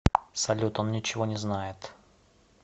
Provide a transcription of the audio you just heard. салют он ничего не знает